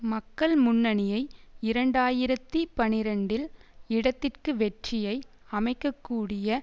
மக்கள் முன்னணியை இரண்டு ஆயிரத்தி பனிரண்டில் இடதிற்கு வெற்றியை அமைக்கக்கூடிய